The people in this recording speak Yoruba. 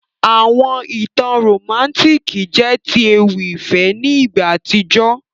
Àwọn ìtàn romantiki jẹ ti ewì ìfẹ́ ni ìgbà àtíjó.